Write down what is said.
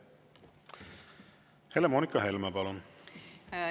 Helle-Moonika Helme, palun!